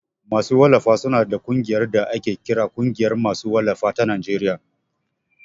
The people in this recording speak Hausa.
Masu wallafa su na da ƙungiyar da ake kira Ƙungiyar ma su wallafa ta Najeriya (NPA)